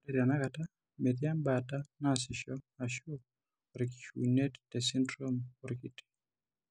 Ore tenakata, metii embaata naasisho ashu orkishiunet tesindirom orkiti.